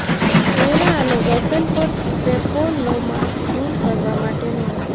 ચહેરા અને ગરદન પર પેપિલોમાઝ દૂર કરવા માટેનો અર્થ